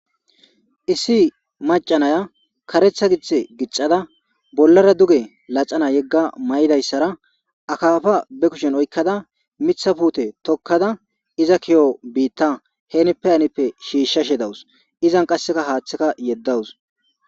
Issi maca naya kareththa giththe gixxada bollara duge laxana yega mayidayisara akafa be kushshenni oyikkada miththa pute tokkada izza ki'o bita henippe hanippe shishashe dawussi.izanni qasekka haththekka yedawus.